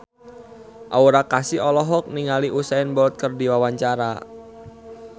Aura Kasih olohok ningali Usain Bolt keur diwawancara